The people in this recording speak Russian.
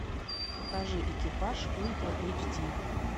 покажи экипаж ультра эйч ди